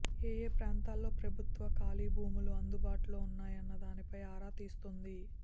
ఏయే ప్రాంతాల్లో ప్రభుత్వ ఖాళీ భూములు అందుబాటులో ఉన్నాయన్న దానిపై ఆరా తీస్తోంది